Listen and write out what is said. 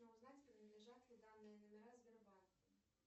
узнать принадлежат ли данные номера сбербанку